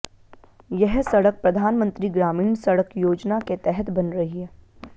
यह सड़क प्रधानमंत्री ग्रामीण सड़क योजना के तहत बन रही है